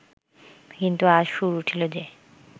কিন্তু আজ সুর উঠিল যে